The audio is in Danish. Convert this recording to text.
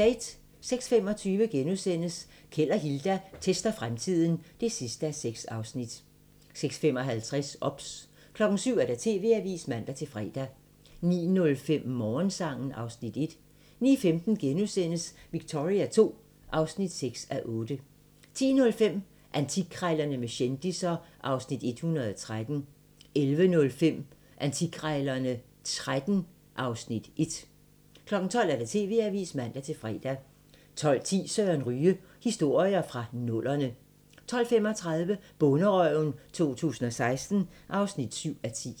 06:25: Keld og Hilda tester fremtiden (6:6)* 06:55: OBS 07:00: TV-avisen (man-fre) 09:05: Morgensang (Afs. 1) 09:15: Victoria II (6:8)* 10:05: Antikkrejlerne med kendisser (Afs. 113) 11:05: Antikkrejlerne XIII (Afs. 1) 12:00: TV-avisen (man-fre) 12:10: Søren Ryge: Historier fra nullerne 12:35: Bonderøven 2016 (7:10)